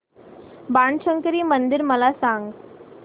बाणशंकरी मंदिर मला सांग